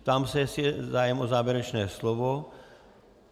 Ptám se, jestli je zájem o závěrečné slovo.